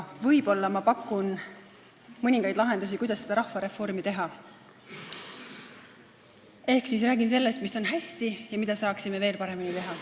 Võib-olla ma pakun mõningaid lahendusi, kuidas seda rahvareformi teha, ehk räägin sellest, mis on hästi ja mida me saaksime veel paremini teha.